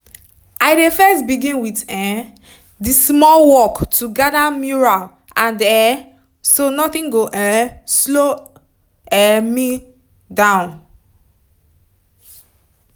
i dey first begin with um the small work to gather mural and um so nothing go um slow um slow me down